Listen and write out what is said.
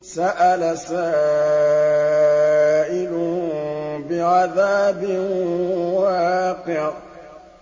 سَأَلَ سَائِلٌ بِعَذَابٍ وَاقِعٍ